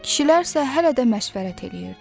Kişilər isə hələ də məşvərət eləyirdi.